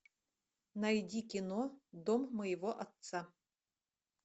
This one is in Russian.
найди кино дом моего отца